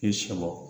I sɔm